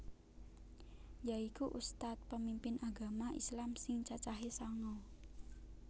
Yaiku ustadz pemimpin agama islam sing cacahe sanga